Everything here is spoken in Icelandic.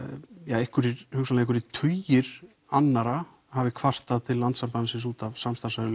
einhverjir hugsanlega tugir annarra hafi kvartað til Landssambandsins út af samstarfs